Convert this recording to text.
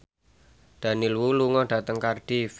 Daniel Wu lunga dhateng Cardiff